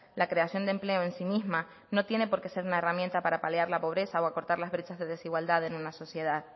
la creación de empleo en sí misma no tiene por qué ser una herramienta para paliar la pobreza o acortar los derechos de desigualdad en una sociedad